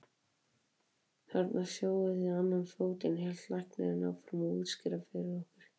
Þarna sjáið þið annan fótinn, hélt læknirinn áfram að útskýra fyrir okkur.